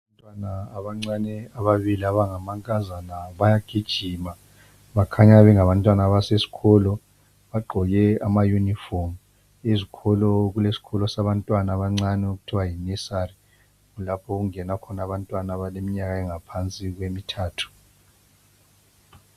Abantwana abancane ababili abangamankazana bayagijima. Bakhanya bengabantwana abasesikolo. Bagqoke amayunifomu, ezikolo zabantwana abancane okuthiwa yinesali. Kulapho okungena abantwana abaleminyaka engaphansi kwemithathu.